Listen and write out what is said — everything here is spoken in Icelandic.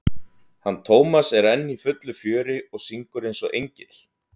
hann Tómas er enn í fullu fjöri og syngur eins og engill.